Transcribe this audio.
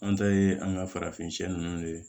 An ta ye an ka farafin nunnu de ye